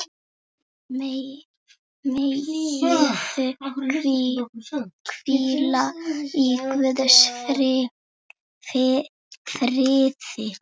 Megirðu hvíla í Guðs friði.